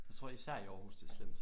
Jeg tror især i Aarhus det er slemt